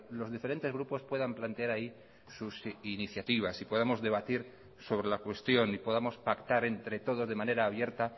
los diferentes grupos puedan plantear ahí sus iniciativas y podamos debatir sobre la cuestión y podamos pactar entre todos de manera abierta